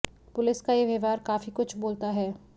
police का ये व्यवहार काफी कुछ बोलता है